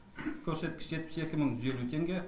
көрсеткіш жетпіс екі мың жүз елу теңге